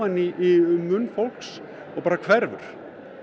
í munn fólks og bara hverfur